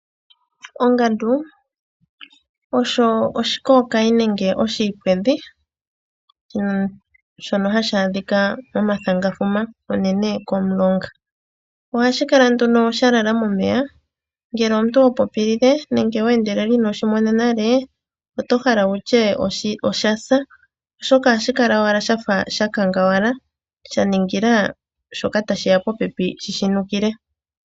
Ongandu osho oshikokayi nenge oshiipwedhi shoka hashi adhika momathangafuma unene komiilonga. Ohashi kala nduno shalala momeya ,ngele omuntu hopopilile nenge we endelela iinoshi mona nale otohala wutye osha sa oshoka ohashi kala wala sha kangawala sha ningila shoka tashiya popepi shi shi nukile.